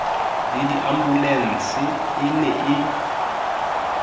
le diambulense e ne e